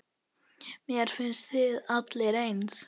Mér finnst þið allir eins.